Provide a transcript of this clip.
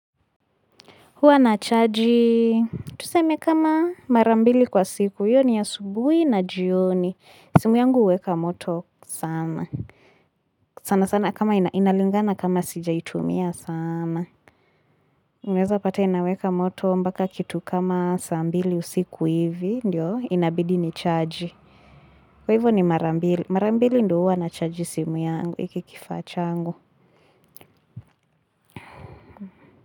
Huwa na chaji, tuseme kama mara mbili kwa siku, hiyo ni ya subuhi na jioni. Simu yangu hweka moto sana. Sana sana kama inalingana kama sijaitumia saaana. Inaweza pate inaweka moto mpaka kitu kama saa mbili usiku hivi, ndio, inabidi ni chaji. Kwa hivyo ni mara mbili, mara mbili ndio huwa na chaji simu yangu, hiki kifaa changu.